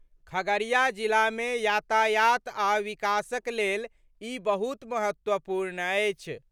खगड़िया जिलामे यातायात आ विकासक लेल ई बहुत महत्वपूर्ण अछि।